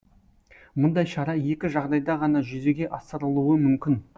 мұндай шара екі жағдайда ғана жүзеге асырылуы мүмкін